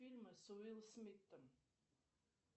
фильмы с уилл смитом